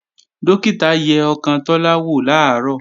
Dókítà yẹ ọkàn Tọ́lá wò làárọ̀